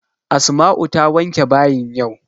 Asma'u ta wanke bayin yau.